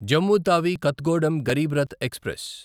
Jammu Tawi Kathgodam Garib Rath express